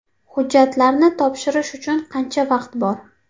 Hujjatlarni topshirish uchun qancha vaqt bor?